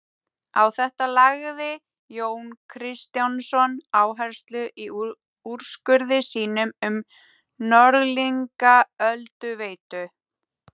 Á þetta lagði Jón Kristjánsson áherslu í úrskurði sínum um Norðlingaölduveitu.